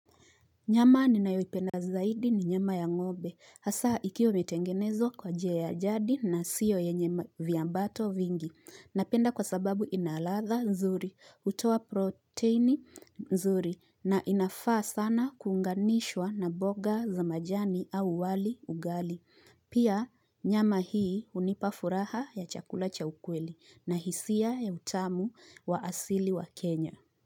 Nyama ni nayoipenda zaidi ni nyama ya ng'obe. Hasa ikiwa imetengenezwa kwa jia ya jadi na siyo ye nye ma viambato vingi. Napenda kwa sababu inaladha nzuri, utoa proteini nzuri na inafaa sana kunganishwa na boga za majani au wali ugali. Pia nyama hii unipafuraha ya chakula cha ukweli na hisia ya utamu wa asili wa Kenya.